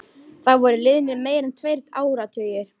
Það voru liðnir meira en tveir áratugir.